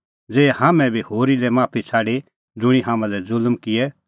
ज़ै हाम्हां का किज़ै भूलच़ूक हुई होए तेता करै माफ ज़ेही हाम्हैं बी होरी लै माफी छ़ाडी ज़ुंणी हाम्हां लै ज़ुल्म किऐ